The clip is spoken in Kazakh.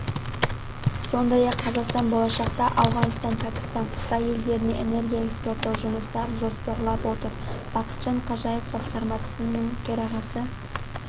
сондай-ақ қазақстан болашақта ауғанстан пәкістан қытай елдеріне энергия экспорттау жұмыстарын жоспарлап отыр бақытжан қажиев басқармасының төрағасы